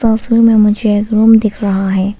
में मुझे एक रूम दिख रहा है।